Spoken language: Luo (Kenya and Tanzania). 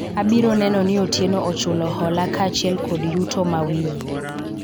abiro neno ni Otieno ochulo hola kaachiel kod yuto mawiye